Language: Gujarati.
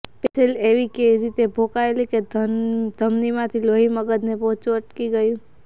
પેન્સિલ એવી રીતે ભોંકાયેલી કે ધમનીમાંથી લોહી મગજને પહોંચતું અટકી ગયું